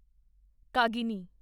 ਕਾਗਿਨੀ